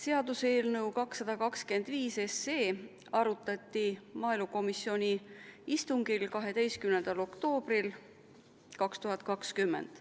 Seaduseelnõu 225 arutati maaelukomisjoni istungil 12. oktoobril 2020.